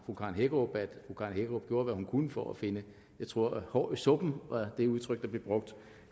hækkerup at fru karen hækkerup gjorde hvad hun kunne for at finde jeg tror et hår i suppen var det udtryk der blev brugt